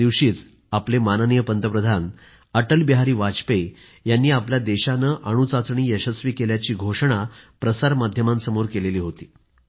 त्यादिवशीच आपले पंतप्रधान अटल बिहारी वाजपेयी यांनी आपल्या देशाने अणूचाचणी यशस्वी केल्याची घोषणा प्रसार माध्यमासमोर केली होती